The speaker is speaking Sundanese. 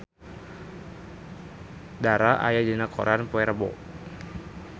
Dara aya dina koran poe Rebo